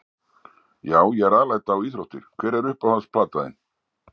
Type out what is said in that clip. Já ég er alæta á íþróttir Hver er uppáhalds platan þín?